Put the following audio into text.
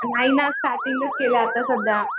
नाही ना. स्टार्टींगच केलं आता सध्या.